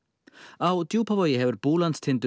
á Djúpavogi hefur Búlandstindur